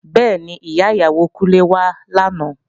Bẹ́ẹ̀ni, Ìyá ìyàwó Kúnlé wá làná